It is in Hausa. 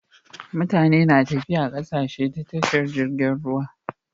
Mutane na tafiya zuwa ƙasashe ta tashar jirgin ruwa